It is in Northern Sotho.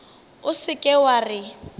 o se ke wa re